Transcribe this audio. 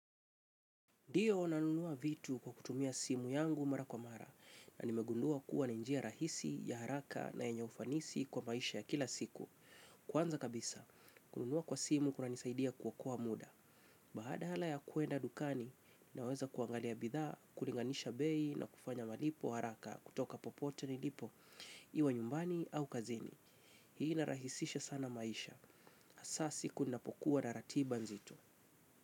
Ndiyo nanunua vitu kwa kutumia simu yangu mara kwa mara na nimegundua kuwa ni njia rahisi ya haraka na yenye ufanisi kwa maisha ya kila siku. Kwanza kabisa, kununua kwa simu kunanisaidia kuokoa muda. Badala ya kuenda dukani, naweza kuangalia bidhaa, kulinganisha bei na kufanya malipo haraka kutoka popote nilipo, iwe nyumbani au kazini. Hii inarahisisha sana maisha. Hasa siku ninapokuwa na ratiba nzito.